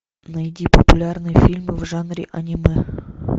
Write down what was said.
найди популярные фильмы в жанре аниме